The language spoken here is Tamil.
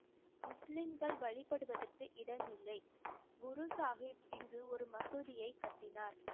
முஸ்லிம்கள் வழிபடுவதற்கு இடமில்லை குரு சாஹிப் இங்கு ஒரு மசூதியைக் கட்டினார்